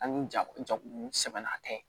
Ani jako jako sɛbɛnna tɛ